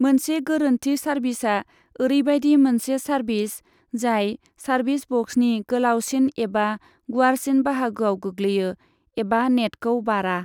मोनसे गोरोन्थि सार्भिसा ओरैबायदि मोनसे सार्भिस जाय सार्भिस बक्सनि गोलावसिन एबा गुवारसिन बाहागोआव गोग्लैयो एबा नेटखौ बारा।